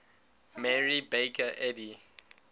mary baker eddy